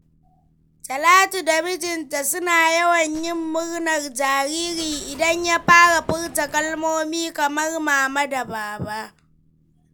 Talatu da mijinta suna yawan yin murnar jariri idan ya fara furta kalmomi kamar "mama" da "baba."